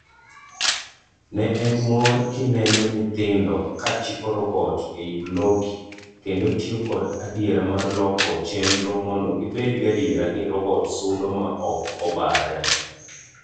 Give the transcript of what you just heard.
Ne en mor kineno nyithindo kachiko robot ei blockly kendo tiyo kod adiera mar loko chenro mondo gibed gadiera ni robot sudo maok obarre.